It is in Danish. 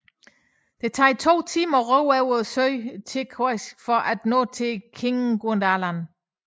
Det tager to timer at ro over søen Tasersuaq for at nå til Kinguadalen